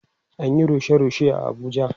An Yi rushe rushe a Abuja